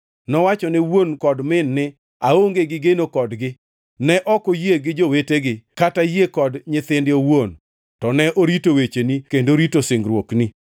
Nowachone wuon kod min ni, ‘Aonge gi geno kodgi.’ Ne ok oyie gi jowetegi kata yie kod nyithinde owuon, to ne orito wecheni kendo rito singruokni.